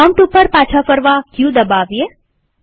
prompt ઉપર પાછા ફરવા ક દબાવીએ